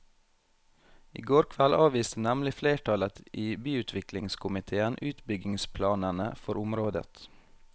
I går kveld avviste nemlig flertallet i byutviklingskomitéen utbyggingsplanene for området.